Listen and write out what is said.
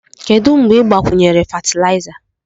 Kedu mgbe ị gbakwunyere fatịlaịza?